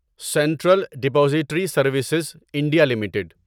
central depository services India limited